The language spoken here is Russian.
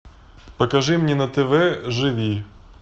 покажи мне на тв живи